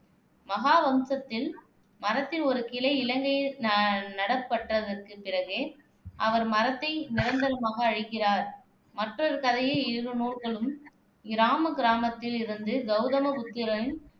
மகாவம்சத்தில் மரத்தில் ஒரு கிளை இலங்கையில் ந நடப்பட்டதற்குப் பிறகே அவர் மரத்தை நிரந்தரமாக அழிக்கிறார் மற்றொரு கதையில் இரு நூல்களும் இராமகிராமத்தில் இருந்து கௌதம புத்தரின்